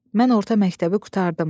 Mən orta məktəbi qurtardım.